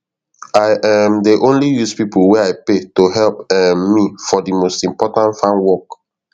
i um dey only use pipo wey i pay to help um me for de most important farm work